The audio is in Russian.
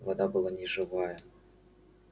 вода была неживая